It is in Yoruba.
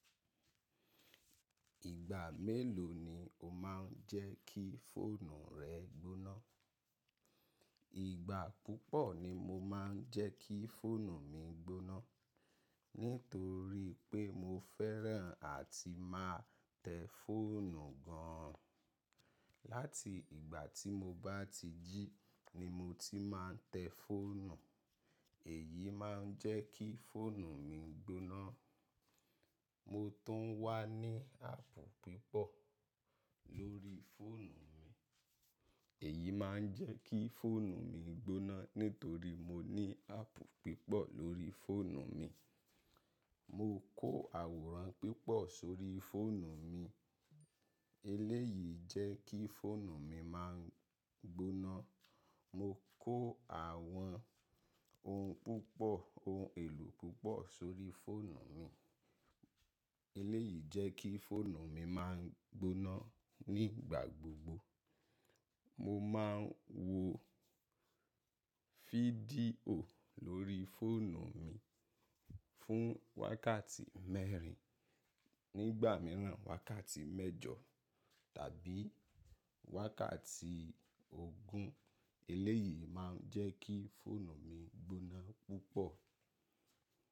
Ìgbà mélòó ni o má n jẹ́ kí fóònù rẹ gbóná? Ìgbà púpọ̀ ni mo má n jẹ́ kí fóònù mi gbóná, nítorí pé mo fẹ́ràn àti má tẹ́ fóònù gan an. Láti ìgbà tí mo bá ti jí ni mo ti má n tẹ́ fóònù, èyí má n jẹ́ kí fóònù mi gbóná. Mo tún wá ní app pipo lórí fóònù mi, èyí má n jẹ́ kí fóònù mi gbóná. Nítorí mo ní áàpù púpọ̀ lórí fóònù mi. Mo kó àwòrán pipo sórí fóònù mi, eléyìí jẹ́ kí fóònù mi má n gbóná. Mo kó àwọn ohun púpọ̀, ohun èlò púpọ̀ sórí fóònù mi, eléyìí jẹ́ kí fóònù mi má n gbóná ní igbà gbogbo. Mo má n wo fídíò lórí fóònù mi fún wákàtí mẹ́rin, nígbà míràn wákàtí mẹ́jọ tàbí wákàtí ogún, eléyìí má n jẹ́ kí fóònù mi gbóná púpọ̀.